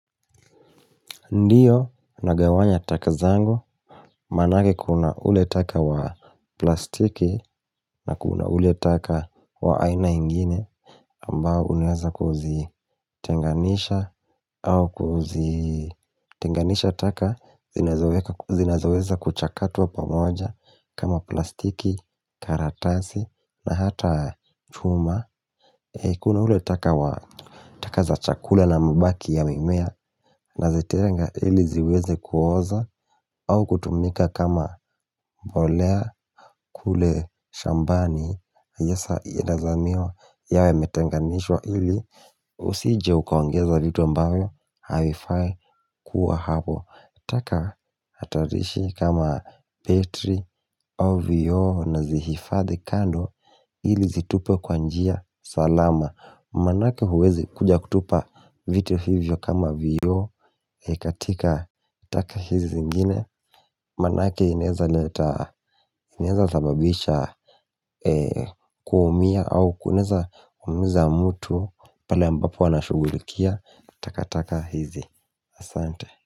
Ndio nagawanya taka zangu manake kuna ule taka wa plastiki na kuna ule taka wa aina ingine ambao unaweza kuzitenganisha au kuzitenganisha taka zinazoweza kuchakatwa pamoja kama plastiki, karatasi na hata chuma. Kuna ule taka wa taka za chakula na mibaki ya mimea Nazetenga ili ziweze kuoza au kutumika kama mbolea kule shambani hasa yedazamiwa yawe yametenganishwa ili Usije ukaongeza vitu ambavyo Havifai kuwa hapo taka hatarishi kama petri, au vioo nazihifadhi kando ili zitupwe kwa njia salama Manake huwezi kuja kutupa vitu hivyo kama vioo katika taka hizi zingine Manake inaeza leta, inaeza sababisha kuumia au kunaeza umiza mtu pale ambapo wanashugulikia taka taka hizi Asante.